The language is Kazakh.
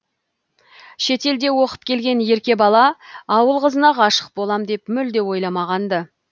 шетелде оқып келген ерке бала ауыл қызына ғашық болам деп мүлде ойламаған ды